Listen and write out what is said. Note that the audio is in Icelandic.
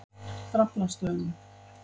Draflastöðum